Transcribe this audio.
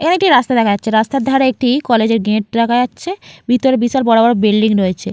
এখানে একটি রাস্তা দেখা যাচ্ছেরাস্তার ধারে একটি গেট দেখা যাচ্ছে | ভিতরে বিশাল বড়বড় বিল্ডিং রয়েছে।